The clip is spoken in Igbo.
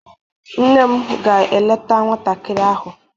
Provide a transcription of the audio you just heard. Nne m ga-eleta nwantakịrị ahụ.